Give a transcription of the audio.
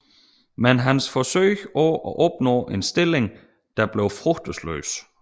Men hans forsøg på at opnå en stilling der blev frugtesløse